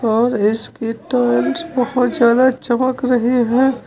और इसकी टाइल्स बहोत ज्यादा चमक रहे है।